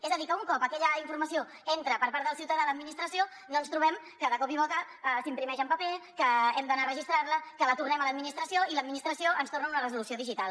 és a dir que un cop aquella informació entra per part del ciutadà a l’administració no en trobem que de cop i volta s’imprimeix en paper que hem d’anar a registrar la que la tornem a l’administració i l’administració ens torna una resolució digital